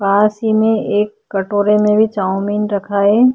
पास ही में एक कटोरे में भी चाव्मीन रखा है।